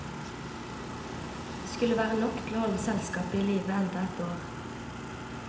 Det skulle være nok til å holde selskapet i live enda et år.